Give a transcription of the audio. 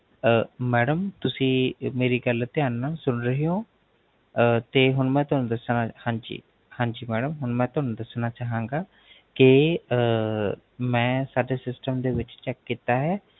ਅਹ Madam ਤੁਸੀਂ ਮੇਰੀ ਗਲ ਧਿਆਨ ਨਾਲ ਸੁਨ ਰਹੇ ਹੋ ਤੇ ਹੁਣ ਅਹ ਮੈ ਤੁਹਾਨੂ ਦਸਣਾ, ਹਾਂਜੀ ਹਾਂਜੀ, ਹੁਣ ਮੈ ਤੁਹਾਨੂ ਦਸਣਾ ਚਾਹਾਂਗਾ ਕੇ ਅਹ ਮੈਂ ਸਾਡੇ System ਵਿੱਚ , Check ਕੀਤਾ ਹੈ